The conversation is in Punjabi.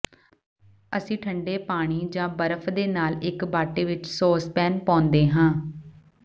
ਅਸੀਂ ਠੰਢੇ ਪਾਣੀ ਜਾਂ ਬਰਫ਼ ਦੇ ਨਾਲ ਇਕ ਬਾਟੇ ਵਿਚ ਸੌਸਪੈਨ ਪਾਉਂਦੇ ਹਾਂ